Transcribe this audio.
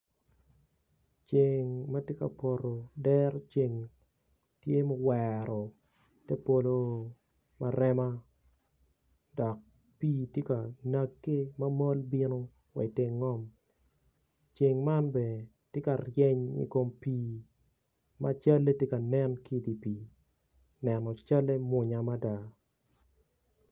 Ceng ma tye ka poto dero ceng tye ma owero te polo ma rema dok pii tye ka nagge ma bino wa i teng ngom ceng man bene tye ka ryeny i kom pii ma calle tye ka nen ki i dye pii neno calle mwonya mada.